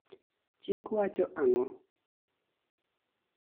Chik wacho ang'o